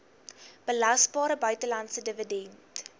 belasbare buitelandse dividend